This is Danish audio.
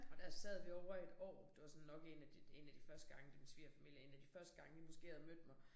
Og der sad vi ovre i et år det var sådan nok en de en af de første gange da min svigerfamilie en af de første gange de måske havde mødt mig